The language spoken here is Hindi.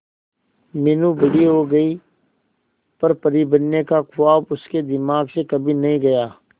मीनू बड़ी हो गई पर परी बनने का ख्वाब उसके दिमाग से कभी नहीं गया